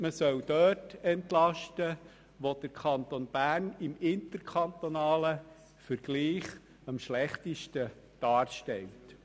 Man soll dort entlasten, wo der Kanton Bern im interkantonalen Vergleich am schlechtesten dasteht.